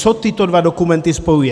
Co tyto dva dokumenty spojuje?